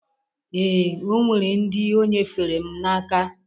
Ee, o nwere ndị o nyefere m n'aka